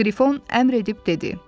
Qrifon əmr edib dedi: